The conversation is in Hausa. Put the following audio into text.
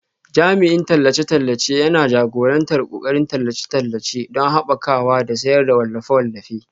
Jami'in tallace-tallace yana jagorantar ƙoƙarin tallace-tallace don haɓakawa da sayar da wallafe-wallafe